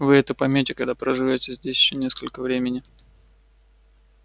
вы это поймёте когда проживёте здесь ещё несколько времени